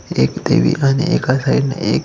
एक देवी आणि एका साइडने --